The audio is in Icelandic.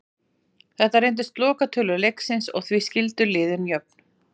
Þetta reyndust lokatölur leiksins og því skildu liðin jöfn.